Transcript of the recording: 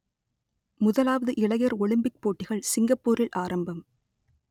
முதலாவது இளையர் ஒலிம்பிக் போட்டிகள் சிங்கப்பூரில் ஆரம்பம்